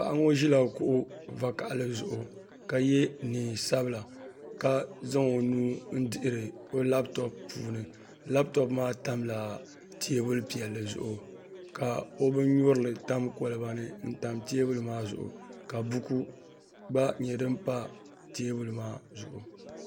Paɣa ŋo ʒila kuɣu vakaɣali zuɣu ka yɛ neen sabila ka zaŋ o nuu n dihiri labtop puuni labtop maa tamla teebuli piɛlli zuɣu ka o bin nyurili tam kolba ni n tam teebuli maa zuɣu ka buku gba pa teebuli maa zuɣu